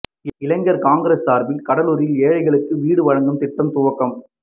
இளைஞா் காங்கிரஸ் சாா்பில் கூடலூரில் ஏழைகளுக்கு வீடு வழங்கும் திட்டம் துவக்கம்